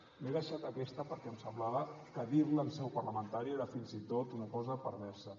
m’he deixat aquesta perquè em semblava que dir la en seu parlamentària era fins i tot una cosa perversa